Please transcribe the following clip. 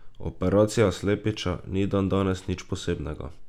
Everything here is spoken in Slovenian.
Operacija slepiča ni dandanes nič posebnega.